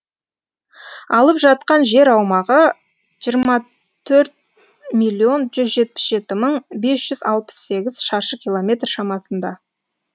алып жатқан жер аумағы жиырма төрт миллион жүз жетпіс жеті бес жүз алпыс сегіз шаршы километр шамасында